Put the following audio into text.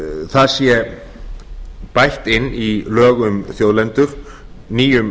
það sé bætt inn í lög um þjóðlendur nýjum